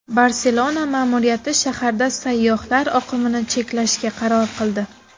Barselona ma’muriyati shaharda sayyohlar oqimini cheklashga qaror qildi.